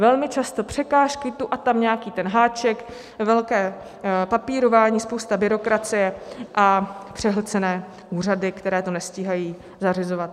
Velmi často překážky, tu a tam nějaký ten háček, velké papírování, spousta byrokracie a přehlcené úřady, které to nestíhají zařizovat.